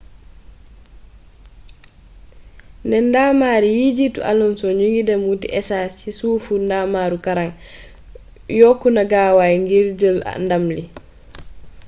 ne ndamar yi jiitu alonso ñoo ngi dem wuuti esaas si sufu ndamaru kaaraange yokku na gaawaay ngir jël ndam li